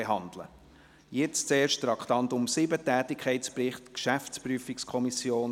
Zuerst zum Traktandum 7, Tätigkeitsbericht GPK.